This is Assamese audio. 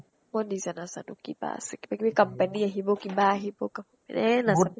মই নিজে নাজানো কিবা আছে। কিবা কিবি company আহিব কিবা আহিব gov এহ নাজানো